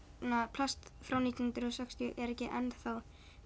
plast frá nítján hundruð og sextíu er ekki enn